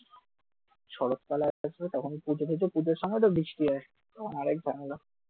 শরৎকাল আসবে তখন পুজো পুজো আর পুজোর সময় তো বৃষ্টি হয়। আরেক ঝামেলা